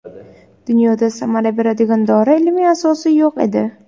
Dunyoda samara beradigan dori ilmiy asosi yo‘q edi.